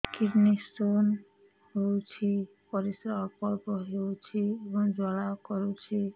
kidney stone ହୋଇଛି ପରିସ୍ରା ଅଳ୍ପ ଅଳ୍ପ ହେଉଛି ଏବଂ ଜ୍ୱାଳା କରୁଛି